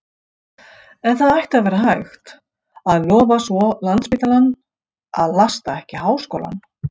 En það ætti að vera hægt, að lofa svo landsspítalann, að lasta ekki háskólann.